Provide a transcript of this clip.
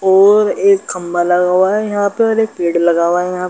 और एक खम्भा लगा हुआ है। यहाँ पर एक पेड़ लगा हुआ है। यहाँ --